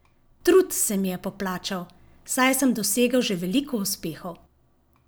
Trud se mi je poplačal, saj sem dosegel še veliko uspehov.